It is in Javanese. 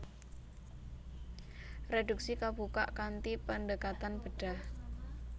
Reduksi kabukak kanthi pendekatan bedhah